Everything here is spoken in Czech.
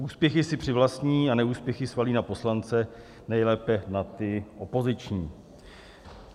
Úspěchy si přivlastní a neúspěchy svalí na poslance, nejlépe na ty opoziční.